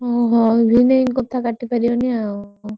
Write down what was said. ହୁଁ ଭଉଣୀ ଭିଣୋଇ ଙ୍କ କଥା କାଟିପରିବନି ଆଉ।